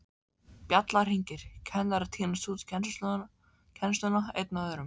Bjallan hringir, kennarar tínast út í kennsluna einn af öðrum.